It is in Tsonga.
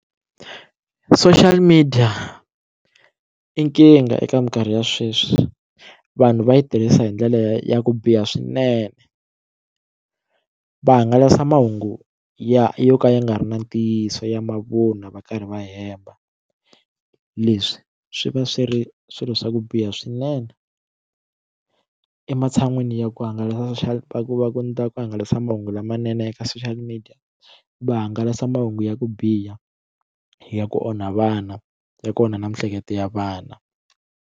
Social media i nkingha eka minkarhi ya sweswi vanhu va yi tirhisa hi ndlela ya ku biha swinene va hangalasa mahungu ya yo ka ya nga ri na ntiyiso ya mavunwa va karhi va hemba leswi swi va swi ri swilo swa ku biha swinene ematshan'wini ya ku hangalasa va ku na ku hangalasa mahungu lamanene eka social media va hangalasa mahungu ya ku biha ya ku onha vana ya kona na miehleketo ya vana.